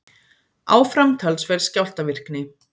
Áfram talsverð skjálftavirkni